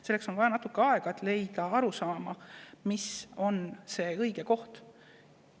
Selleks on vaja natuke aega, et jõuda arusaamale,.